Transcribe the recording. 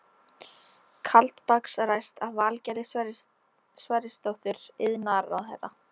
Kaldbaks ræst af Valgerði Sverrisdóttur iðnaðarráðherra.